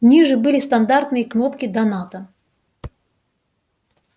ниже были стандартные кнопки доната